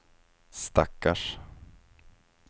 stackars